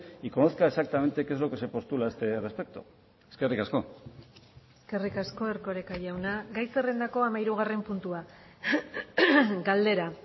y conozca exactamente qué es lo que se postula a este respecto eskerrik asko eskerrik asko erkoreka jauna gai zerrendako hamahirugarren puntua galdera